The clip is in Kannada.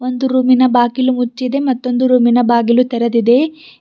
ಒಂದು ರೂಮಿನ ಬಾಗಿಲು ಮುಚ್ಚಿದೆ ಮತ್ತೊಂದು ರೂಮಿನ ಬಾಗಿಲು ತೆರೆದಿದೆ.